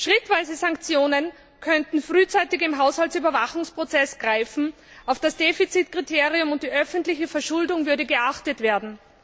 Schrittweise Sanktionen könnten frühzeitig im Haushaltsüberwachungsprozess greifen, auf das Defizitkriterium und die öffentliche Verschuldung würde geachtet werden.